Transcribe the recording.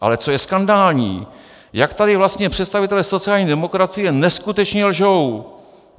Ale co je skandální, jak tady vlastně představitelé sociální demokracie neskutečně lžou.